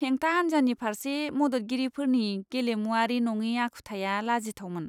हेंथा हान्जानि फारसे मददगिरिफोरनि गेलेमुआरि नङि आखुथाया लाजिथावमोन!